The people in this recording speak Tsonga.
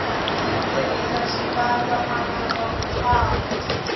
ndzi tirisa xipandza mananga ku famba